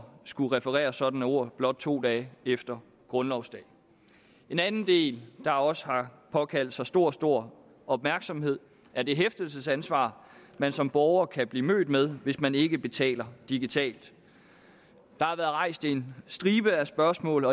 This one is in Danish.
skulle referere sådanne ord blot to dage efter grundlovsdag en anden del der også har påkaldt sig stor stor opmærksomhed er det hæftelsesansvar man som borger kan blive mødt med hvis man ikke betaler digitalt der har været rejst en stribe af spørgsmål